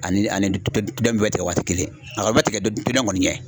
Ani ani dɔ in bɛɛ tigɛ waati kelen a kɔni bɛ tigɛ dɔni kɔni ɲɛ.